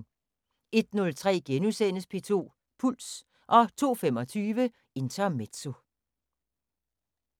01:03: P2 Puls * 02:25: Intermezzo